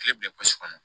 Kile bila kɔnɔ